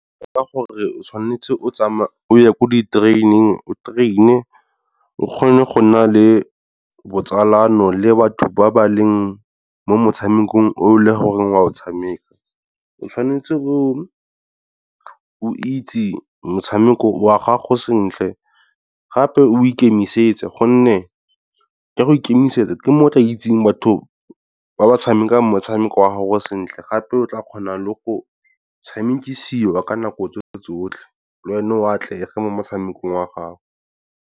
Ka gore o tshwanetse o tsamaya o ye ko di-training o train-e o kgone go nna le botsalano le batho ba ba leng mo motshamekong o le gore o a o tshameka. O tshwanetse o itse motshameko wa gago sentle gape o ikemisetse, gonne ke go ikemisetsa ke mo tla itseng batho ba ba tshameka motshameko wa ga go sentle, gape o tla kgona le go tshamekisiwa ka nako tse tsotlhe, le wena o atlege mo motshamekong wa gago.